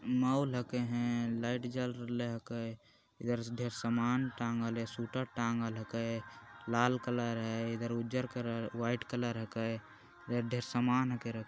mall ह कहे light जल रहले के इधर से ढेर सामान टाँगल हे सूट टांगल हे के लाल कलर हे इधर उजर कलर वाइट कलर हे ढेर सामान --